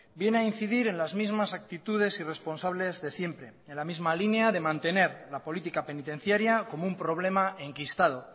viene a incidir en las mismas actitudes irresponsables de siempre en la misma línea de mantener la política penitenciaria como un problema enquistado